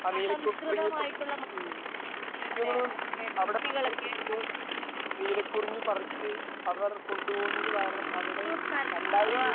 ആ നീലകുറിഞ്ഞി ഒക്കെ. ഉം പിന്നെ അവിടെ ആൾക്കാര് ചെല്ലുമ്പോൾ നീലകുറിഞ്ഞി പറിച്ച് അവർ കൊണ്ടുപോകുന്നത് കാരണം അവിടെ രണ്ടായിരം